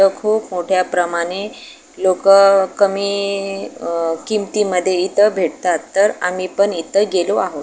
इथ खूप मोठ्या प्रमाणे लोकं कमी अह किमती मध्ये इथं भेटतात तर आम्ही पण इथं गेलो आहोत.